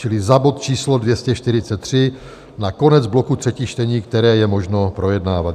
Čili za bod číslo 243, na konec bloku třetích čtení, které je možno projednávat.